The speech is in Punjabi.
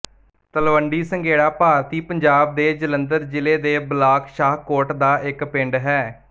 ਤਲਵੰਡੀ ਸੰਘੇੜਾ ਭਾਰਤੀ ਪੰਜਾਬ ਦੇ ਜਲੰਧਰ ਜ਼ਿਲ੍ਹੇ ਦੇ ਬਲਾਕ ਸ਼ਾਹਕੋਟ ਦਾ ਇੱਕ ਪਿੰਡ ਹੈ